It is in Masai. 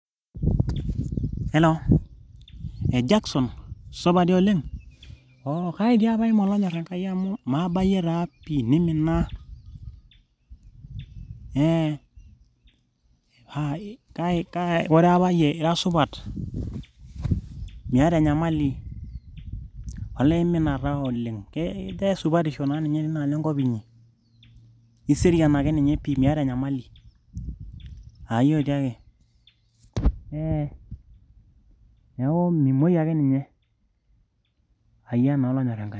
hello,e Jackson supa dii oleng oo kai dii apa iima olonyorr Enkai amu maabayie taa pi nimina ee paa kai koree apa yie ira supat? miata enyamali, olee imina taa oleng kejaa esupatisho naa ninye tinaalo enkop inyi? iserian akeninye pii miata enyamali? ayia otiake ee neeku mimuoi akeninye? ayia naa olonyorr Enkai.